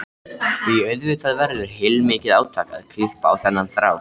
Því auðvitað verður heilmikið átak að klippa á þennan þráð.